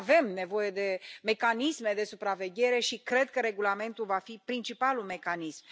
Avem nevoie de mecanisme de supraveghere și cred că regulamentul va fi principalul mecanism.